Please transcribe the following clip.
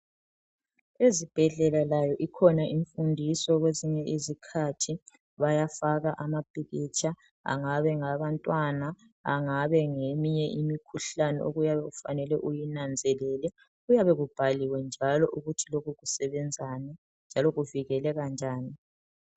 Ezibhedlela layo ikhona imfundiso kwesinye izikhathi bayafaka amapikitsha, angabe ngabantwana angabe ngeyeminye imikhuhlane okuyabe umfanele uyinanzelele kuyabe kubhaliwe njalo ukuthi lokhu kusebenzani njalo kuvikeleka njani.